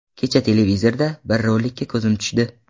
Kecha televizorda bir rolikka ko‘zim tushdi.